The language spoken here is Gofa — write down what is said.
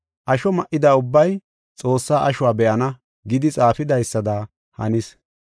Asho ma7ida ubbay, Xoossaa ashuwa be7ana’ ” gidi xaafidaysada hanis.